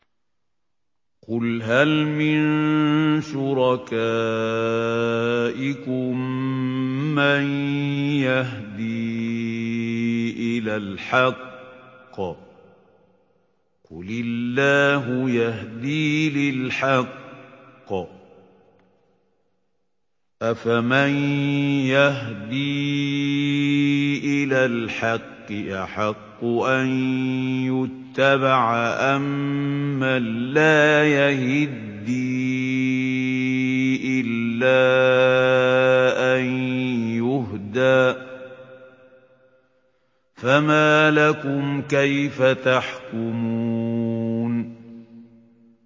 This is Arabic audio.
قُلْ هَلْ مِن شُرَكَائِكُم مَّن يَهْدِي إِلَى الْحَقِّ ۚ قُلِ اللَّهُ يَهْدِي لِلْحَقِّ ۗ أَفَمَن يَهْدِي إِلَى الْحَقِّ أَحَقُّ أَن يُتَّبَعَ أَمَّن لَّا يَهِدِّي إِلَّا أَن يُهْدَىٰ ۖ فَمَا لَكُمْ كَيْفَ تَحْكُمُونَ